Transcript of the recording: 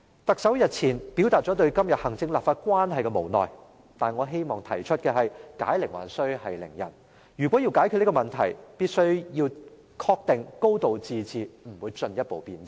特首日前表達了對今天行政立法關係的無奈，但我希望提出解鈴還須繫鈴人，如果要解決這問題，必須要確定"高度自治"不會進一步變質。